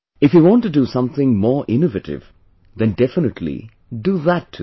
If you want to do something more innovative, then definitely do that too